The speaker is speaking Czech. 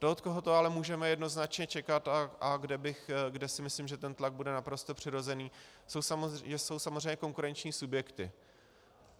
Ten, od koho to ale můžeme jednoznačně čekat a kde si myslím, že ten tlak bude naprosto přirozený, jsou samozřejmě konkurenční subjekty.